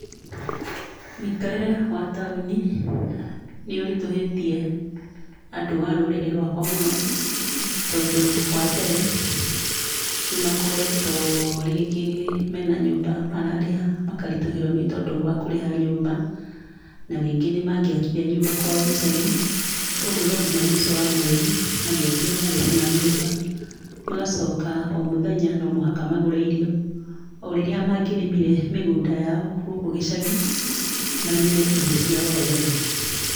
Mũikarĩre wa taũni nĩũritũhĩtie andũ a rũrĩrĩ rwakwa mũno, tondũ wa mbere nĩmakoretwo rĩngĩ mena nyũmba mararĩha, makaritũhĩrwo nĩ tondũ wa kũrĩha nyũmba, na rĩngĩ nĩmangĩakire nyũmba kwao gĩcagi. Koguo no nginya mũico wa mweri magetio marĩhi ma nyũmba, magacoka o mũthenya nomũhaka magũre irio, o rĩrĩa mangĩrĩmire mĩgũnda yao gũkũ gĩcagi, marĩme irio ciao o ene.